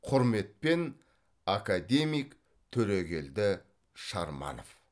құрметпен академик төрегелді шарманов